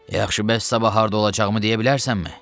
Yaxşı, bəs sabah harda olacağımı deyə bilərsənmi?